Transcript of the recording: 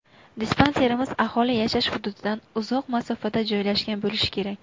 Dispanserimiz aholi yashash hududidan uzoq masofada joylashgan bo‘lishi kerak.